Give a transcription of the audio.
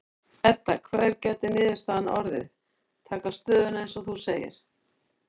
Edda: Hver gæti niðurstaðan orðið, taka stöðuna eins og þú segir?